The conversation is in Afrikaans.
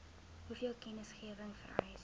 hoeveel kennisgewing vereis